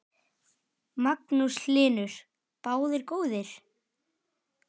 Magnús Hlynur: Báðir góðir?